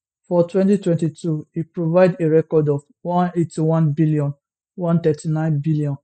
for 2022 e provide a record of 181bn 139bn